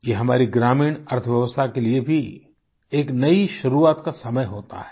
ये हमारी ग्रामीण अर्थव्यवस्था के लिए भी एक नई शुरुआत का समय होता है